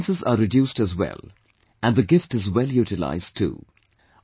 The expenses are reduced as well, and the gift is well utilized too